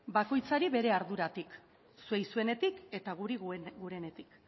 bakoitzari bere arduratik zuei zuenetik eta guri gurenetik